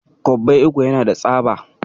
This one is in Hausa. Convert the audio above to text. Kwabbai uku yana da tsaba.